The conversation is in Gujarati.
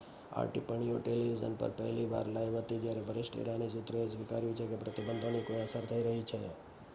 આ ટિપ્પણીઓ ટેલિવિઝન પર પહેલી વાર લાઇવ હતી જ્યારે વરિષ્ઠ ઈરાની સૂત્રોએ સ્વીકાર્યું છે કે પ્રતિબંધોની કોઈ અસર થઈ રહી છે